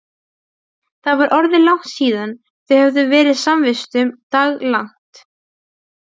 Það var orðið langt síðan þau höfðu verið samvistum daglangt.